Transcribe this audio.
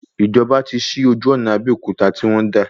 Ìjọba tí sí ojú ọ̀nà Abéòkúta tí wọ́n dà